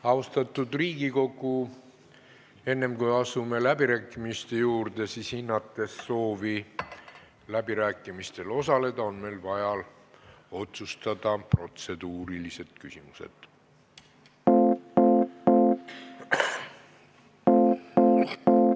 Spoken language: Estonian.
Austatud Riigikogu, enne kui asume läbirääkimiste juurde, on meil, hinnates soove läbirääkimistel osaleda, vaja otsustada protseduurilised küsimused.